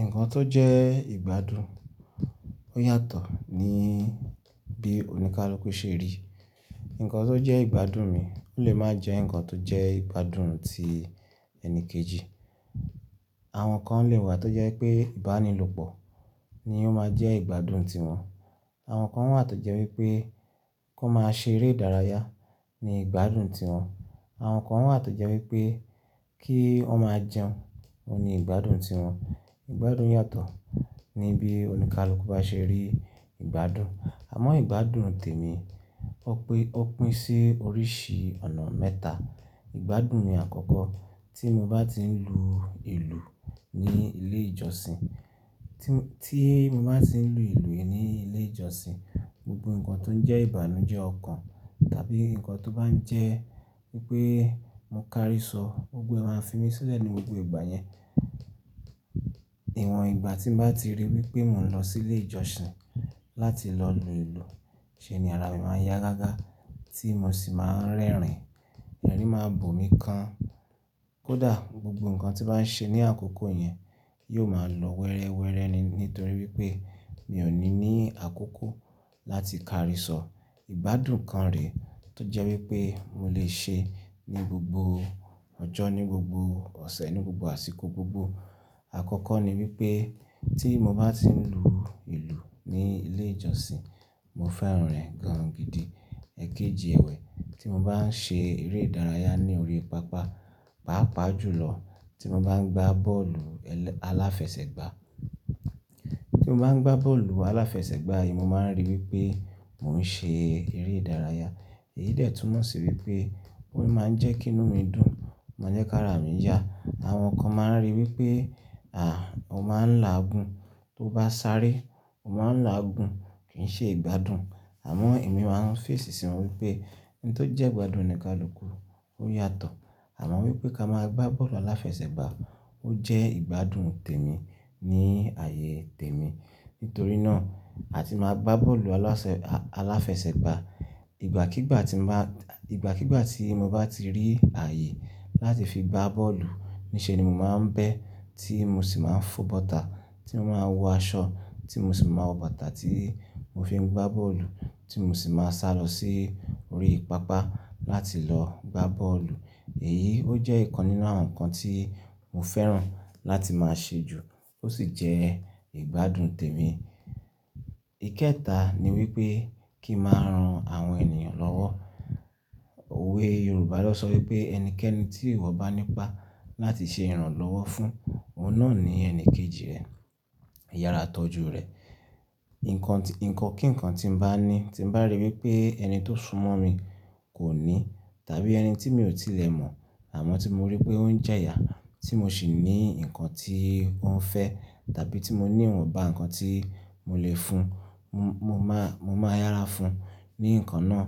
Nǹkan tó jẹ́ ìgbádùn ó yàtọ̀ ní bí oníkálukú ṣe rí. Nǹkan tó jẹ́ ìgbádùn mi ò lè má jẹ́ nǹkan tó jẹ́ ìgbádùn ti ẹni kejì. Àwọn kan lè wà tó jẹ́ pé ìbánilòpọ̀ ni ó máa jẹ́ ìgbádùn tí wọ́n. Àwọn kan wà tó jẹ́ wípé kó máa ṣe eré ìdárayá ni ìgbádùn tí wọ́n. Àwọn kan wà tó jẹ́ wípé kí wọ́n máa jẹun ni ìgbádùn tí wọ́n. Ìgbádùn yàtọ̀ ní bí oníkálukú bá ṣe rí ìgbádùn. Àmọ́ ìgbádùn tèmi, ó pín sí oríṣi ọ̀nà mẹ́ta. Ìgbádùn mi àkọ́kọ́, tí mo bá ti ń lù ìlú ní ilé ìjọsìn, tí mo máa ti ń lù ìlú ní ilé ìjọsìn, gbogbo nǹkan tó jẹ́ ìbànújẹ́ ọkàn tàbí nǹkan tó bá ń jẹ́ wípé mo kárí sọ, gbogbo ẹ́ máa ń fi mí sílẹ̀ ní gbogbo ìgbà yẹn. Ìwọ̀n ìgbà tí mo bá ti ríi wípé mò ń lọ sílé ìjọsìn láti lọ lù ìlú, ṣe ni ara mi máa yá gágá tí mo sì máa ń rẹ́rìn-ín. Erìn máa ń boòmi kan. Kódà gbogbo nǹkan tí bá ń ṣe ní àkókò yẹn yóò máa lọ wẹ́rẹ́wẹ́rẹ́ ni nítorí wípé mi ò ní ní àkókò láti kárí sọ. Ìbádùn kan rè tó jẹ́ wípé mo lè ṣe ní gbogbo ọjọ́, ní gbogbo ọ̀sẹ̀, ní gbogbo àsìkò gbogbo. Àkọ́kọ́ ni wípé tí mo bá ti ń lù ìlú ní ilé ìjọsìn, mo fẹ́ràn rẹ̀ gan-an gidi. Ẹ̀kejì ẹ̀wẹ̀, tí mo bá ń ṣe eré ìdárayá ní orí pápá, pàápàá jùlọ tí mo bá ń gbá bọ́ọ̀lù aláfẹsẹ̀gbá. Tí mo bá ń gbá bọ́ọ̀lù aláfẹsẹ̀gbá yìí, mo máa ń ríi wípé mò ń ṣe eré ìdárayá. Èyí detúmọ̀ sí wípé ó máa ń jẹ́ kí inú mi dùn, máa jẹ́ kí ara mi yá. Àwọn kan máa ń rí wípé, à, o máa ń làágùn, tó bá sáré o máa ń làágùn kìí ṣe ìgbádùn. Àmọ́ èmi máa ń fẹ̀sì sí i wípé ohun tó jẹ́ ìgbádùn oníkálukú ó yàtọ̀. Àmọ́ wípé ká máa gbá bọ́ọ̀lù aláfẹsẹ̀gbá ó jẹ́ ìgbádùn tèmi ní ààyè tèmi. Nítorí náà, àti máa gbá bọ́ọ̀lù aláfẹsẹ̀gbá, igbakigba ìgbàkígbà tí mo bá ti rí ààyè láti fi gbá bọ́ọ̀lù nì ṣe ni mo máa ń bẹ́ tí mo sì máa ń fo bọ́tà tí mo máa ń wọ aṣọ tí mo sì máa wọ bọ́tà tí mo fi ń gbá bọ́ọ̀lù tí mo sì máa sálọ sí orí pápá láti lọ gbá bọ́ọ̀lù. Èyí ó jẹ́ ìkan nínú àwọn nǹkan tí mo fẹ́ràn láti máa ṣe jù ó sì jẹ́ ìgbádùn tèmi. Ikẹta ni wípé kí màá ran àwọn ènìyàn lọ́wọ́. Òwe Yorùbá lọ sọ wípé ẹnikẹ́ni tí ìwọ bá nípa láti ṣe ìrànlọ́wọ́ fún, ọ̀nà ni ẹni kejì rẹ, ìyára tọ́jú rẹ̀. Ìkankan tí nǹkan tí mo bá ní tí mo bá ríi wípé ẹni tó súnmọ́ mi kò ní tàbí ẹni tí mi ò tí lẹ̀ mọ̀ àmọ́ tí mo ríi pé ó ń jẹ yà tí mo sì ní nǹkan tí ó ń fẹ́ tàbí tí mo ní ìwọ̀nba nǹkan tí mo lè fún, mo máa yára fún un ní nǹkan náà.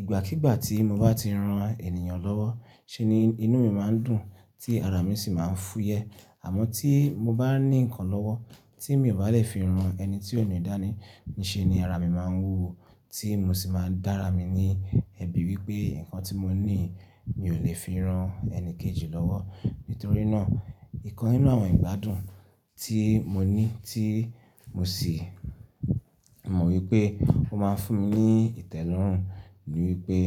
Ìgbàkígbà tí mo bá ti ran ènìyàn lọ́wọ́ ṣe ni inú mi máa ń dùn tí ara mi sì máa ń fúyẹ́. Àmọ́ tí mo bá ní nǹkan lọ́wọ́ tí mi ò bá lè fi ran ẹni tí ò ní dàní nì ṣe ni ara mi máa ń wúwo tí mo sì máa dára mi ní ẹbí wípé nǹkan tí mo ní mi ò lè fi ran ẹni kejì lọ́wọ́. Nítorí náà, ìkan nínú àwọn ìgbádùn tí mo ní tí mo sì mọ̀ wípé ó máa ń fún mi ní ìtẹ́lọ́rùn ni wípé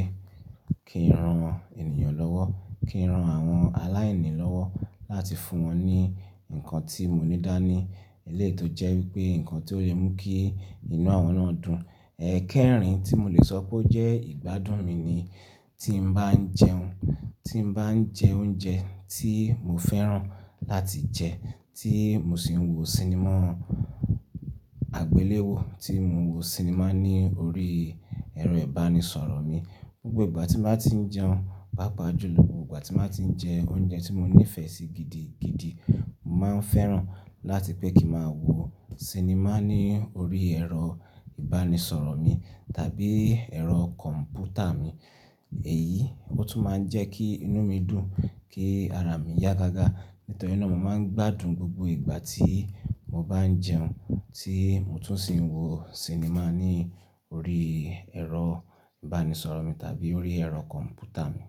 kí ń ran ènìyàn lọ́wọ́, kí ń ran àwọn aláìní lọ́wọ́ láti fún wọn ní nǹkan tí mo ní dàní, eléyi to jẹ́ wípé nǹkan tí ó lè mú kí inú àwọn náà dùn. Ẹ̀kẹrin tí mo lè sọ pé ó jẹ́ ìgbádùn mi ni tí mo bá ń jẹun, tí mo bá ń jẹ oúnjẹ tí mo fẹ́ràn láti jẹ tí mo sì ń wo sinimá àgbéléwò, tí mo ń wo sinimá ní orí ẹ̀rọ ìbánisọ̀rọ̀ mi. Gbogbo ìgbà tí mo bá ti ń jẹun, pàápàá jùlọ, gbogbo ìgbà tí mo bá ti ń jẹ oúnjẹ tí mo nífẹ̀ẹ́ sí gidi gidi, mo máa ń fẹ́ràn láti pé kí màá wo sinimá ní orí ẹ̀rọ ìbánisọ̀rọ̀ mi tàbí ẹ̀rọ kọ̀m̀pútà mi. Èyí ó tún máa ń jẹ́ kí inú mi dùn, kí ara mi yá gágá. Nítorí náà mo máa ń gbádùn gbogbo ìgbà tí mo bá ń jẹun tí mo tún sì ń wo sinimá ní orí ẹ̀rọ ìbánisọ̀rọ̀ mi tàbí orí ẹ̀rọ kọ̀m̀pútà mi.